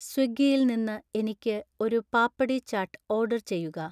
സ്വിഗ്ഗിയിൽ നിന്ന് എനിക്ക് ഒരു പാപ്പടി ചാട്ട് ഓർഡർ ചെയ്യുക